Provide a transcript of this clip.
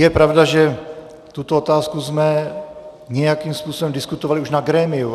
Je pravda, že tuto otázku jsme nějakým způsobem diskutovali už na grémiu.